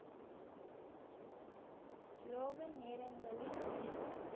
slogan நேரங்களில் மேலும்